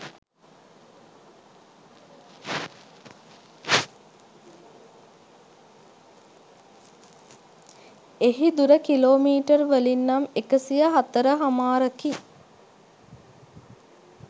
එහි දුර කිලෝමීටර් වලින් නම් එකසියහතරහමාරකි